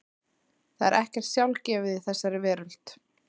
Það er ekkert sjálfgefið í þessari veröld.